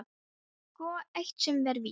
Það er sko eitt sem er víst.